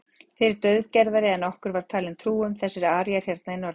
Þið eruð daufgerðari en okkur var talin trú um, þessir aríar hérna í norðrinu.